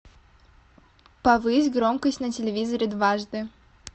повысь громкость на телевизоре дважды